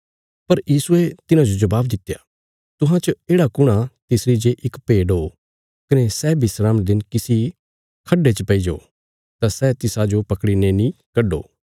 पर यीशुये तिन्हांजो जबाब दित्या तुहां च येढ़ा कुण आ तिसरी जे इक भेड ओ कने सै विस्राम रे दिन किसी खड्डे च पैईजो तां सै तिसाजो पकड़ीने नीं कड्डो